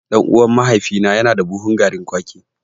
Ɗan'uwan mahaifina yana da buhun garin kwaki.